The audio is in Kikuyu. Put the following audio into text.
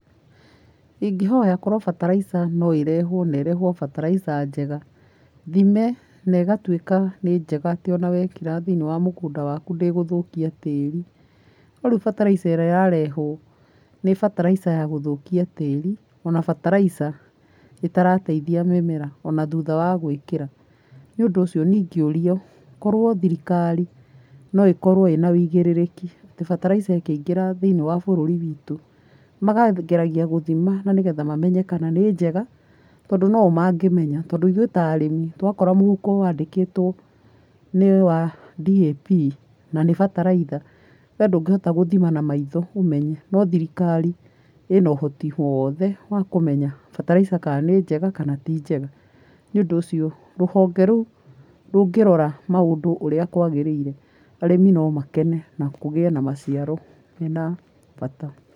Ingĩhoya korũo bataraitha no ĩrehwo na ĩrehwo bataraitha njega. Thime na ĩgatuika nĩ njega atĩ ona wekĩra thiiniĩ wa mũgũnda waku ndĩgũthũkia tĩri. No rĩu bataraitha ĩrĩa ĩrarehwo nĩ bataraitha ya gũthũkia tĩri, ona bataraitha ĩtarateithia mĩmera ona thutha wa gwĩkĩra. Nĩũndũ ũcio niĩ ingĩũrio, korwo thirikari no ĩkorwo ĩna wĩigĩrĩrĩki atĩ bataraitha ikĩingĩra thĩini wa bũruri witũ makageragia gũthima nanĩgetha mamenye kana nĩ njega, tondũ no o mangĩmenya. Tondũ ithuĩ ta arĩmi twakora mũhuko wandĩkĩtwo nĩwa DAP na nĩ bataraitha we ndũngĩhota gũthima na maitho ũmenye no thirikari ina ũhoti wothe wa kũmenya bataraitha ka nĩ njega kana ti njega,. Nĩũndũ ũcio rũhonge rũu rũngĩrora maũndũ ũrĩa kwagĩrĩire arĩmi no makene na kũgiĩ na maciaro mena bata.